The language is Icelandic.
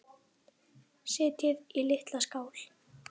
Setjið í litla skál.